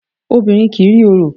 Obìnrin kì í rí orò.